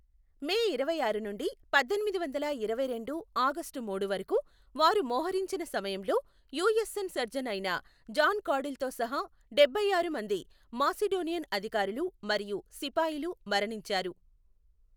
మే ఇరవైఆరు నుండి పద్దెనిమిది వందల ఇరవైరెండు ఆగష్టు మూడు వరకు వారు మోహరించిన సమయంలో, యూఎస్ఎన్ సర్జన్ అయిన జాన్ కాడిల్తో సహా డెబ్బై ఆరు మంది మాసిడోనియన్ అధికారులు మరియు సిఫాయీలు మరణించారు.